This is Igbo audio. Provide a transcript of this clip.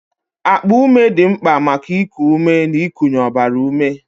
Akpa ume dị mkpa maka iku ume na ikunye ọbara ume